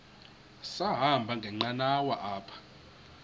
sahamba ngenqanawa apha